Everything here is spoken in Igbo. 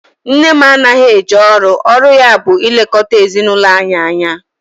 Nne m anaghị eje ọrụ, ọrụ ya bụ ilekọta ezinaụlọ anyị anya